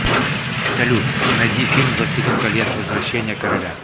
салют найди фильм властелин колец возвращение короля